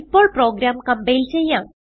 ഇപ്പോൾ program compile ചെയ്യാം